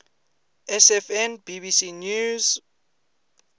sfn bbc news